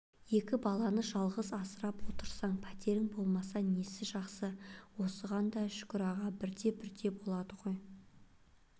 екі баланы жалғыз асырап отырсаң пәтерің болмаса несі жақсы осыған да шүкір аға бірте-бірте болады ғой